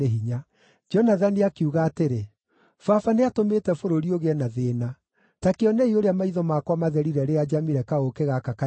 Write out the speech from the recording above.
Jonathani akiuga atĩrĩ, “Baba nĩatũmĩte bũrũri ũgĩe na thĩĩna. Ta kĩonei ũrĩa maitho makwa matherire rĩrĩa njamire kaũũkĩ gaka kanini.